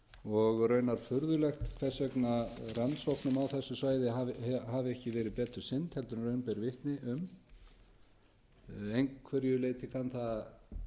og raunar furðulegt hvers vegna rannsóknum á þessu svæði hafi ekki verið betur sinnt en raun ber vitni að einhverju leyti kann það að